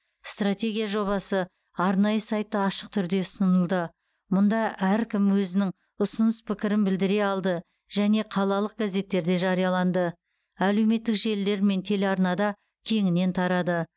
стратегия жобасы арнайы сайтта ашық түрде ұсынылды мұнда әркім өзінің ұсыныс пікірін білдіре алды және қалалық газеттерде жарияланды әлеуметтік желілер мен телеарнада кеңінен тарады